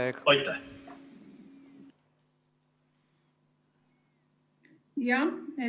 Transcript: Aeg!